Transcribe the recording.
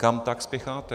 Kam tak spěcháte?